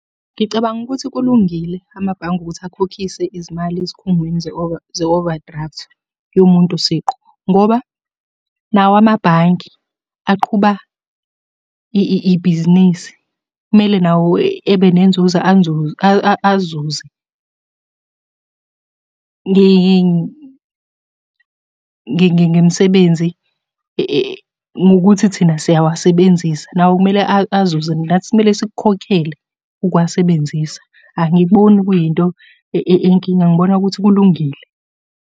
Ngicabanga ukuthi kulungile amabhange ukuthi akhokhise izimali ezikhungweni ze-overdraft yomuntu siqu, ngoba nawo amabhange aqhuba ibhizinisi. Kumele nawo ebe nenzuzo azuze, ngemisebenzi ngokuthi thina siyawasebenzisa. Nawo kumele azuze nathi kumele sikukhokhele ukuwasebenzisa. Angikuboni kuyinto eyinkinga ngibona ukuthi kulungile.